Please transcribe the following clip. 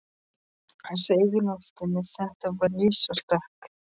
Hann sveif í loftinu, þetta var risastökk!